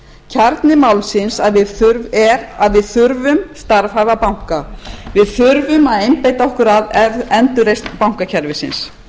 kjarni málsins er að við þurfum starfhæfa banka við þurfum að einbeita okkur að endurreisn bankakerfisins